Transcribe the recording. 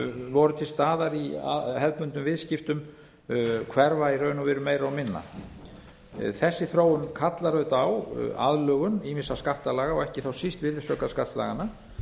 voru til staðar í hefðbundnum viðskiptum hverfa í raun og veru meira og minna þessi þróun kallar á aðlögun ýmissa skattalaga ekki þá síst virðisaukaskattslaganna